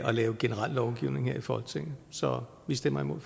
lave generel lovgivning her i folketinget så vi stemmer imod